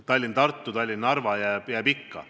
Tallinn–Tartu ja Tallinn–Narva jäävad ikka.